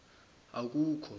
akukho